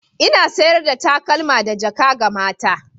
Ina sayar da takalma da jaka ga mata.